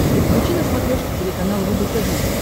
подключи на смотрешке телеканал рубль тв